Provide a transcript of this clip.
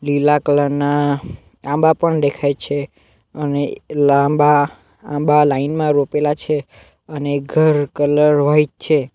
પીલા colour ના આંબા પણ દેખાય છે અને લાંબા આંબા લાઈન માં રોપેલા છે અને એક ઘર કલર વાઈટ છે.